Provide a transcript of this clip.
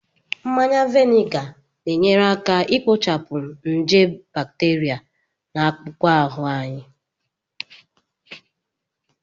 Mmanya vinega na-enyere aka ikpochapụ nje bacteria na akpụkpọ ahụ